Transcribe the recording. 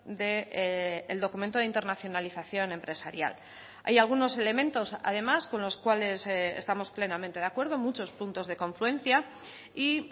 del documento de internacionalización empresarial hay algunos elementos además con los cuales estamos plenamente de acuerdo muchos puntos de confluencia y